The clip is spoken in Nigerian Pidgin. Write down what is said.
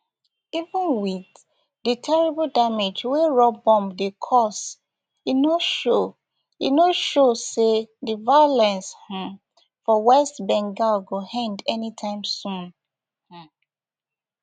even wit di terrible damage wey raw bomb dey cause e no show no show say di violence um for west bengal go end anytime soon um